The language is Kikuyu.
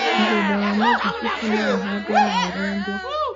Mũgũnda wa mĩthabibũ no ũhandwo na ũrengwo